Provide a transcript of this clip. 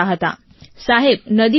સાહેબ નદી પાર કરીને ગયા છીએ અમે લોકો